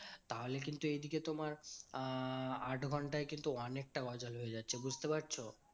তাহলে কিন্তু এইদিকে তোমার আহ আট ঘন্টায় কিন্তু অনেকটা গজাল হয়ে যাচ্ছে, বুঝতে পারছো?